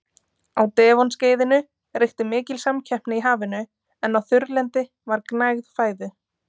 Á Devon-skeiðinu ríkti mikil samkeppni í hafinu en á þurrlendi var gnægð fæðu.